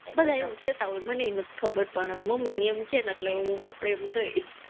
બધા એવું કેતા હોય મનેય નથી ખબર પણ મમ્મી ને એમ કે એટલે આપણે ય એમ કઈ,